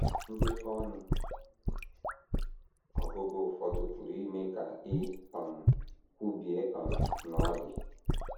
Ndekọ ọnụ ọgụgụ ụfọdụ pụrụ ime ka i um kwubie um na ọ dị.